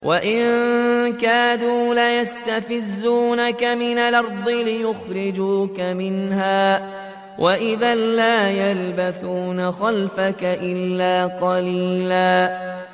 وَإِن كَادُوا لَيَسْتَفِزُّونَكَ مِنَ الْأَرْضِ لِيُخْرِجُوكَ مِنْهَا ۖ وَإِذًا لَّا يَلْبَثُونَ خِلَافَكَ إِلَّا قَلِيلًا